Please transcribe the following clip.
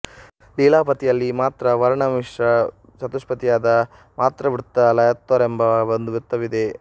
ಲೀಲಾವತಿಯಲ್ಲಿ ಮಾತ್ರವರ್ಣ ಮಿಶ್ರ ಚತುಷ್ಪದಿಯಾದ ಮಾತ್ರಾವೃತ್ತ ಲಯೋತ್ತರವೆಂಬ ಒಂದು ವೃತ್ತವಿದೆ